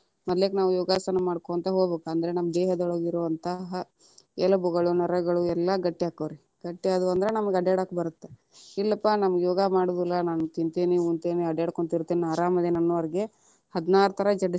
ಮದ್ಲೆಕ ನಾವು ಯೋಗಾಸನ ಮಾಡ್ಕೊಂತ ಹೋಗ್ಬೇಕ, ಅಂದ್ರ ನಮ್ಮ ದೇಹದೊಳಗೆ ಇರುವಂತಹ ಎಲಬುಗಳು, ನರಗಳು ಎಲ್ಲಾ ಗಟ್ಟಿ ಅಕ್ಕವ್ವ ರೀ, ಗಟ್ಟಿ ಆದವಂದ್ರ ನಮ್ಗ ಅಡ್ಯಾಡಕ ಬರತ್ತ. ಇಲ್ಲಪಾ ನಮಗ ಯೋಗಾ ಮಾಡುದಿಲ್ಲಾ ನಾನ ತಿಂತೇನಿ ಉಣತೇತಿ ಅಡ್ಯಾಡ್ಕೊಂತ ಇರ್ತೇನಿ ನಾ ಆರಾಮ ಅದೇನಿ ಅನ್ನೋರಿಗ ಹದಿನಾರು ತರಾ ಜಡ್ಡ.